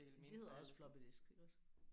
De hedder også floppy disk iggås?